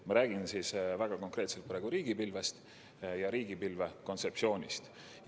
Ma räägin väga konkreetselt riigipilvest ja riigipilve kontseptsioonist.